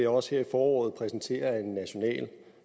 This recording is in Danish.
også her i foråret præsentere en national